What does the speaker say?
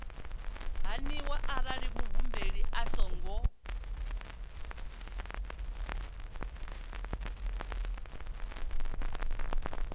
haniwa arali muhumbeli a songo